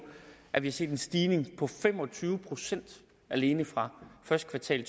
at vi har set en stigning på fem og tyve procent alene fra første kvartal i